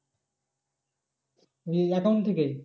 এই account থেকেই?